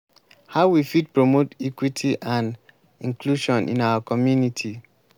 how we fit promote equity and inclusion in our community?